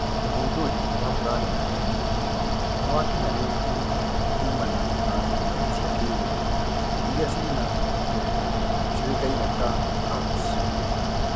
ũthundũri wa planeti ĩno niwakinyaneirwo kuumana na darubini cia ki riu iria ina indo ciowekaine ta HARPS.